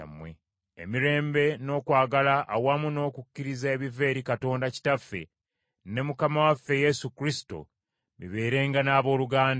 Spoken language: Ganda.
Emirembe n’okwagala awamu n’okukkiriza ebiva eri Katonda Kitaffe ne Mukama waffe Yesu Kristo, bibeerenga n’abooluganda.